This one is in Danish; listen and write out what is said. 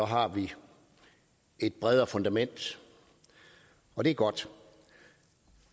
har vi et bredere fundament og det er godt